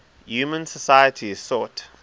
human societies sought